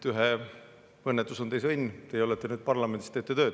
Ühe õnnetus on teise õnn, teie olete nüüd parlamendis, teete tööd.